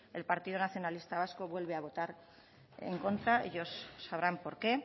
el partido nacionalista vasco vuelve a votar en contra ellos sabrán por qué